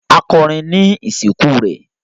A kọrín ni isinku rẹ